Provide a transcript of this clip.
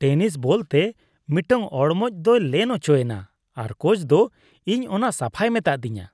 Tennis ᱵᱚᱞᱛᱮ ᱢᱤᱫᱴᱟᱝ ᱚᱲᱢᱚᱡ ᱫᱚᱭ ᱞᱮᱱ ᱚᱪᱚᱭᱮᱱᱟ ᱟᱨ ᱠᱳᱪ ᱫᱚ ᱤᱧ ᱚᱱᱟ ᱥᱟᱯᱷᱟᱭ ᱢᱮᱛᱟᱫᱤᱧᱟ ᱾